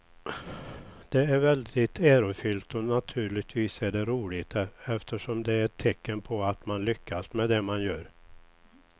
Det är väldigt ärofyllt och naturligtvis är det roligt eftersom det är ett tecken på att man har lyckats med det man gör.